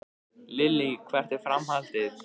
Lillý: Hvert er framhaldið?